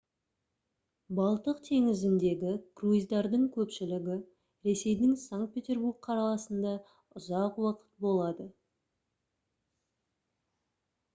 балтық теңізіндегі круиздардың көпшілігі ресейдің санкт-петербург қаласында ұзақ уақыт болады